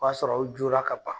O b'a sɔrɔ aw joora ka bana.